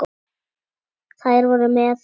Þær voru með